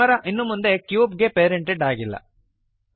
camera ಇನ್ನು ಮುಂದೆ cube ಗೆ ಪೇರೆಂಟೆಡ್ ಆಗಿಲ್ಲ